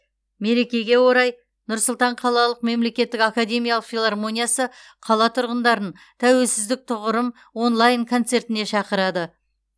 мерекеге орай нұр сұлтан қалалық мемлекеттік академиялық филармониясы қала тұрғындарын тәуелсіздік тұғырым онлайн концертіне шақырады